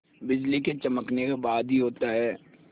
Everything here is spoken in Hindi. बिजली के चमकने के बाद ही होता है